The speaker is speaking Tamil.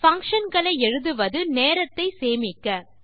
பங்ஷன் களை எழுதுவது நேரத்தை சேமிக்க